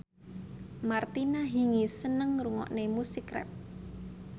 Martina Hingis seneng ngrungokne musik rap